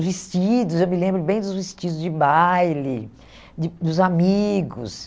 Os vestidos, eu me lembro bem dos vestidos de baile, de dos amigos.